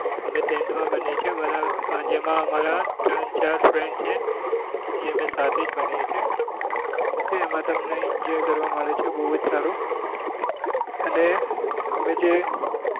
અમે તેન્ડવા બનીએ છીએ બધા જેમાં અમારા ત્રણ ચાર friends છે એ અમે સાથે જ ભણીએ છીએ ok એમાં તમને enjoy કરવા મળે છે બઉ જ સારો